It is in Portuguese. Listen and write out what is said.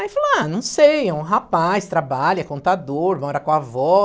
Aí falou, ah, não sei, é um rapaz, trabalha, é contador, mora com a avó.